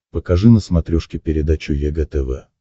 покажи на смотрешке передачу егэ тв